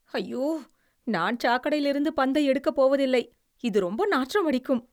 அய்யோ, நான் சாக்கடையிலிருந்து பந்தை எடுக்கப் போவதில்லை. இது ரொம்ப நாற்றமடிக்கும்.